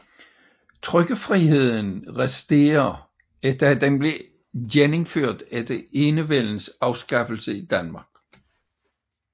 Trykkefriheden resterer efter at den blev genindført efter Enevældens afskaffelse i Danmark